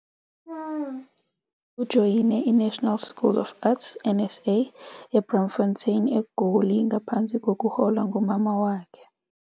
Ujoyine iNational School of Arts, NSA, eBraamfontein, eGoli ngaphansi kokuholwa ngumama wakhe.